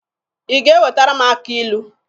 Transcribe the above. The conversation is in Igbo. Ị ga-ewetara m akị ilu?